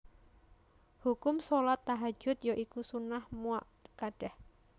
Hukum shalat Tahajjud ya iku sunnah muakkadah